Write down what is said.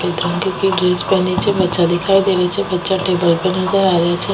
Dress पहनी छे बच्चा दिखाई दे रेहा छे बच्चा टेबल पर नजर आ रेहा छे।